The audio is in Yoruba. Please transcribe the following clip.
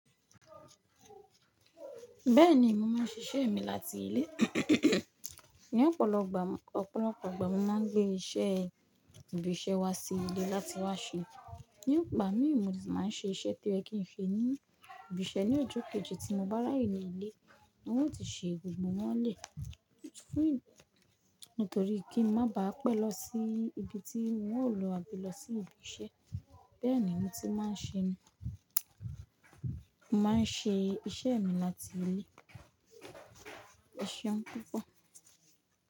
Bẹ́ẹ̀ni, mo máa ń ṣiṣẹ́ mi láti ilé. Ní ọ̀pọ̀lọ gbà, ọ̀pọ̀lọpọ̀ ìgbà mo máa ń gbé iṣẹ́ ibi iṣẹ́ wá sí ilé láti wá ṣe. Ní igbà mìí mo de tí màá ṣe iṣẹ́ tó yẹ kì ń ṣe ní ibi iṣẹ́ ní ojo kejì tí mo bá rà ye ní ilé wọn yóò ti ṣe gbogbo wọ́n lẹ̀. Nítorí kí ń má bà á pẹ́ lọ sí ibi tí wọn ó lọ àbí lọ sí ibi iṣẹ́. Bẹ́ẹ̀ ni mo ti máa ń ṣe, mo máa ń ṣe iṣẹ́ mi láti ilé. Eséun púpọ̀.